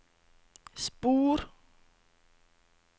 spor